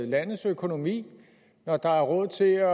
landets økonomi når der er råd til